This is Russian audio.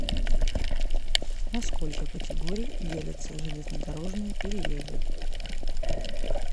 на сколько категорий делятся железнодорожные переезды